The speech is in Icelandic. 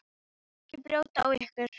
Ekki brjóta á okkur.